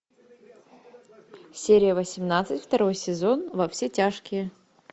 серия восемнадцать второй сезон во все тяжкие